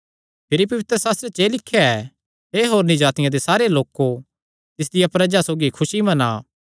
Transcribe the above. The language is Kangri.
भिरी पवित्रशास्त्रे च एह़ लिख्या ऐ हे होरनी जातिआं दे सारे लोको तिसदिया प्रजा सौगी खुसी मना